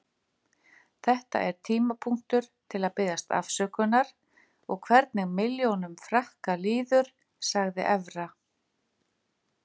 Þetta er tímapunktur til að biðjast afsökunar og hvernig milljónum Frakka líður, sagði Evra.